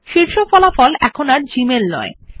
শীর্ষ ফলাফল আর জিমেইল নয়